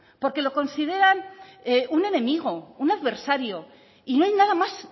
porque lo consideran un enemigo un adversario y no hay nada más